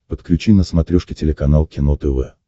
подключи на смотрешке телеканал кино тв